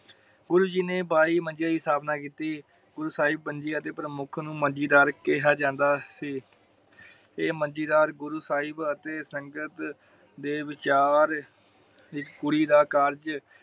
ਗੁਰੂ ਜੀ ਨੇ ਬਾਈ ਮੰਜੇ ਦੀ ਸਥਾਪਨਾ ਕੀਤੀ । ਗੁਰੂ ਸਾਹਿਬ ਪੰਜੀ ਤੇ ਪ੍ਰਮੁੱਖ ਨੂੰ ਮੰਜੀ ਦਰ ਕਿਹਾ ਜਾਂਦਾ ਸੀ । ਏਹ੍ਹ ਮੰਜੀਦਰ ਗੁਰੂ ਸਾਹਿਬ ਅਤੇ ਸੰਗਤ ਦੇ ਵਿਚਾਰ ਇਕ ਕੁੜੀ ਦਾ ਕਾਰਜ